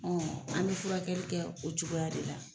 Ɔ an bɛ furakɛli kɛ o cogoya de la.